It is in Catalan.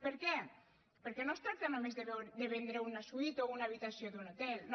per què perquè no es tracta només de vendre una suite o una habitació d’un hotel no